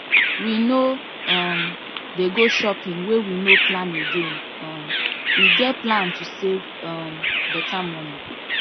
we no um dey go shopping wey we no plan again um we get plan to save um better money